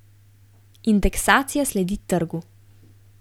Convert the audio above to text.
Indeksacija sledi trgu.